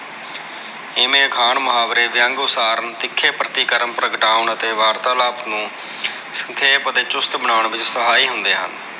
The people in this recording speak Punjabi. ਇਮੈ ਅਖਾਣ ਮੁਹਾਵਰੇ ਵਿਅੰਗ ਉਸਾਰਨ ਤਿੱਖੇ ਪ੍ਰਤੀਕਰਮ ਪ੍ਰਗਟਾਉਣ ਅਤੇ ਵਾਰਤਾਲਾਪ ਨੂੰ ਸੰਖੇਪ ਅਤੇ ਚੁਸਤ ਬਨਾਉਣ ਵਿੱਚ ਸਹਾਈ ਹੁੰਦੇ ਹਨ।